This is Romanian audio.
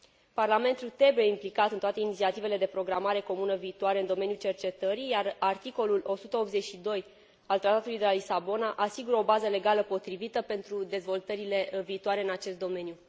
Parlamentul trebuie implicat în toate inițiativele de programare comună viitoare în domeniul cercetării, iar articolul 182 al Tratatului de la Lisabona asigură o bază legală potrivită pentru dezvoltările viitoare în acest domeniu